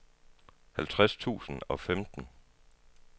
halvtreds tusind og femten